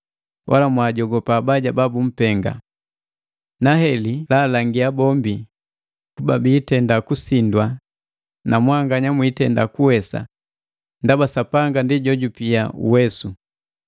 Wala mwaajogopa abaja babumpenga. Na heli laalangia bombi kuba biitenda kusindwa na mwanganya mwiitenda kuwesa ndaba Sapanga ndi jojupi uwesu.